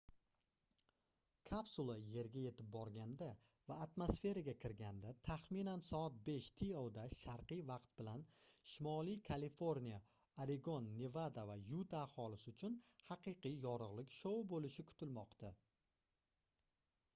kapsula yerga yetib borganda va atmosferaga kirganda taxminan soat 5 to da sharqiy vaqt bilan shimoliy kaliforniya oregon nevada va yuta aholisi uchun haqiqiy yorug'lik shou bo'lishi kutilmoqda